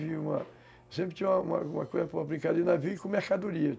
Eu sempre tinha uma uma brincada de navio com mercadoria.